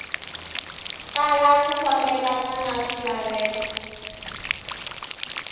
tala ku fambelena na swilaveko